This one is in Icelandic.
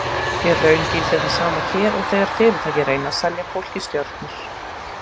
Í raun gildir það sama hér og þegar fyrirtæki reyna að selja fólki stjörnur.